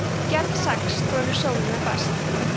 gerð sex þolir sólina best